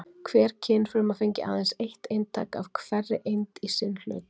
Hver kynfruma fengi aðeins eitt eintak af hverri eind í sinn hlut.